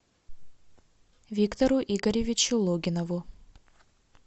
виктору игоревичу логинову